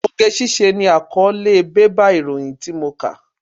Oge ṣíṣe ni àkọ́ọ́lé bébà ìròyìn tí mo kà.